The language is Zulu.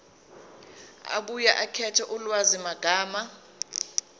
abuye akhethe ulwazimagama